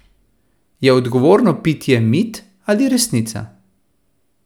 Je odgovorno pitje mit ali resnica?